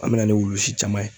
An mɛna ni wulusi caman ye.